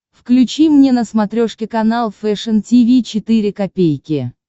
включи мне на смотрешке канал фэшн ти ви четыре ка